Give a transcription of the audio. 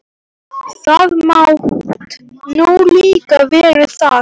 Þú mátt nú líka vera það.